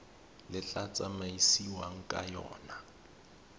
le tla tsamaisiwang ka yona